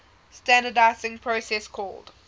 standardizing process called